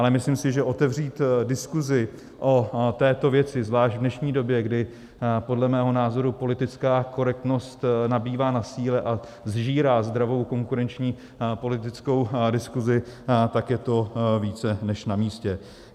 Ale myslím si, že otevřít diskusi o této věci, zvlášť v dnešní době, kdy podle mého názoru politická korektnost nabývá na síle a sžírá zdravou konkurenční a politickou diskusi, tak je to více než namístě.